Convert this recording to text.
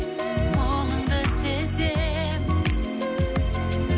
мұңыңды сезем